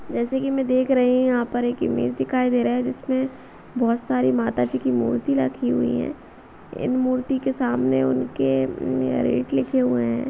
जैसे कि मैं देख रही हूँ यहाँ पर एक इमेज दिखाई दे रहा है जिसमें बहौत सारी माताजी की मूर्ति रखी हुई हैं इन मूर्ति के सामने उनके रेट लिखे हुए हैं।